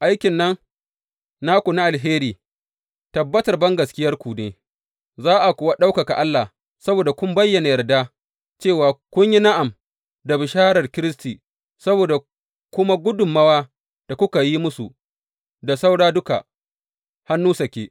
Aikin nan naku na alheri tabbatar bangaskiyarku ne, za a kuwa ɗaukaka Allah saboda kun bayyana yarda, cewa kun yi na’am da bisharar Kiristi, saboda kuma gudummawa da kuka yi musu da saura duka, hannu sake.